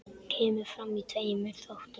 Kemur fram í tveimur þáttum.